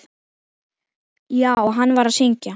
Já, hann var að syngja.